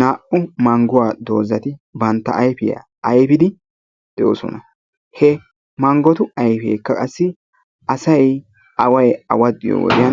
Naa''u mangguwaa doozati bantta ayfiyaa ayfidi de'oosona. he manggotu ayfekka asay away awaxxiyoo wode